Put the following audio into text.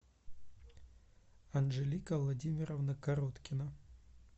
анжелика владимировна короткина